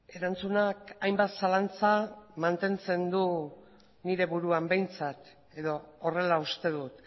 erantzunak hainbat zalantza mantentzen du nire buruan behintzat edo horrela uste dut